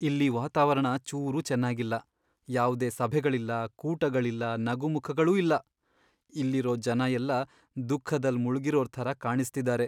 ಇಲ್ಲಿ ವಾತಾವರಣ ಚೂರೂ ಚೆನ್ನಾಗಿಲ್ಲ.. ಯಾವ್ದೇ ಸಭೆಗಳಿಲ್ಲ, ಕೂಟಗಳಿಲ್ಲ, ನಗುಮುಖಗಳೂ ಇಲ್ಲ. ಇಲ್ಲಿರೋ ಜನ ಎಲ್ಲ ದುಃಖದಲ್ಲ್ ಮುಳ್ಗಿರೋರ್ ಥರ ಕಾಣಿಸ್ತಿದಾರೆ.